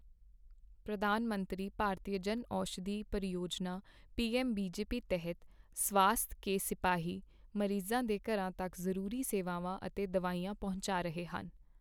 ਪ੍ਰਧਾਨ ਮੰਤਰੀ ਭਾਰਤੀਯ ਜਨਔਸ਼ਧੀ ਪਰਿਯੋਜਨਾ ਪੀਐੱਮਬੀਜੇਪੀ ਤਹਿਤ ਸਵਾਸਥ ਕੇ ਸਿਪਾਹੀ ਮਰੀਜ਼ਾਂ ਦੇ ਘਰਾਂ ਤੱਕ ਜ਼ਰੂਰੀ ਸੇਵਾਵਾਂ ਅਤੇ ਦਵਾਈਆਂ ਪਹੁੰਚਾ ਰਹੇ ਹਨ